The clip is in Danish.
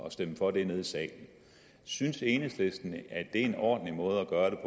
at stemme for det nede i salen synes enhedslisten at det er en ordentlig måde at gøre